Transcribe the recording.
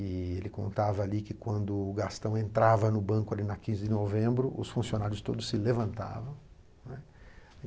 E ele contava ali que quando o Gastão entrava no banco ali na quinze de novembro, os funcionários todos se levantavam, né.